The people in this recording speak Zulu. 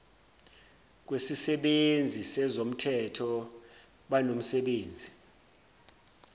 kwesisebenzi sezomthetho banomsebenzi